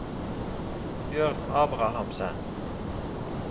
Bjørn Abrahamsen